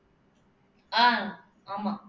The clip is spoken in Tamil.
ஆஹ் ஆமா